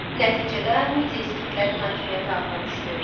Nəticədə mediaskitlərinin hakimiyyəti altına düşdü.